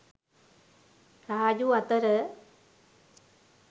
රාජු අතර